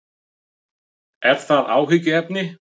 Er það áhyggjuefni?